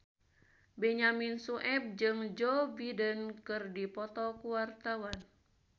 Benyamin Sueb jeung Joe Biden keur dipoto ku wartawan